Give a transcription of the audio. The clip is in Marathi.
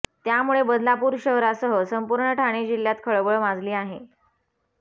त्यामुळे बदलापूर शहरासह संपूर्ण ठाणे जिल्ह्यात खळबळ माजली आहे